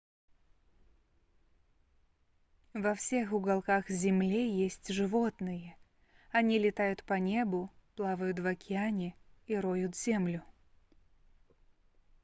во всех уголках земле есть животные они летают по небу плавают в океане и роют землю